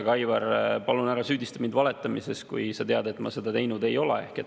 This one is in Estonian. Aga, Aivar, palun ära süüdista mind valetamises, kui sa tead, et ma seda teinud ei ole.